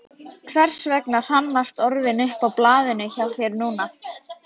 Hversvegna hrannast orðin upp á blaðinu hjá þér núna?